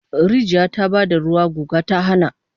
Rijiya ta ba da ruwa, guga ta hana